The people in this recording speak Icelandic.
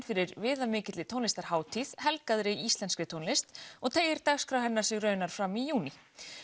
fyrir viðamikilli tónlistarhátíð íslenskri tónlist og teygir dagskrá hennar sig raunar fram í júní